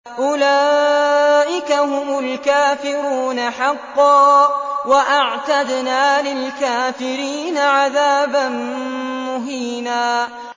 أُولَٰئِكَ هُمُ الْكَافِرُونَ حَقًّا ۚ وَأَعْتَدْنَا لِلْكَافِرِينَ عَذَابًا مُّهِينًا